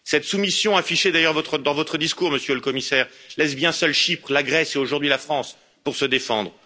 Cette soumission, affichée d'ailleurs dans votre discours, Monsieur le Commissaire, laisse bien seules Chypre, la Grèce et aujourd'hui la France, pour se défendre.